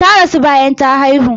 Ta rasu bayan ta haihu.